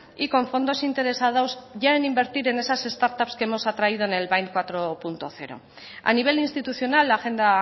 y con fondos interesados ya en invertir en esas start ups que hemos atraído en el bind cuatro punto cero a nivel institucional la agenda